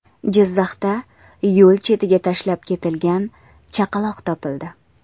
Jizzaxda yo‘l chetiga tashlab ketilgan chaqaloq topildi.